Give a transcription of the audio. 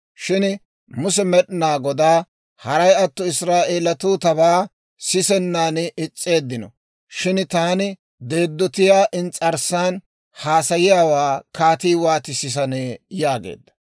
Shin Muse Med'inaa Godaa, «Haray atto Israa'eeletuu tabaa sisennan is's'eeddino shin taani deeddotiyaa ins's'arssan haasayiyaawaa kaatii wooti sisanee?» yaageedda.